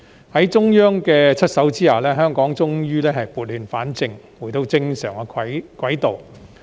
在中央出手下，香港終於撥亂反正，重回正軌。